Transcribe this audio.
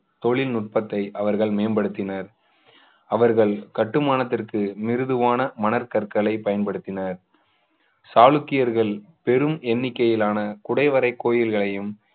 தொழில்நுட்பத்தை அவர்கள் மேம்படுத்தினர் அவர்கள் கட்டுமானத்திற்கு மிருதுவான மனக்கற்களை பயன்படுத்தினர் சாளுக்கியர்கள் பெரும் எண்ணிக்கையிலான குடைவரை கோவில்களையும்